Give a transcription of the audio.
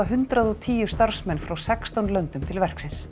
hundrað og tíu starfsmenn frá sextán löndum til verksins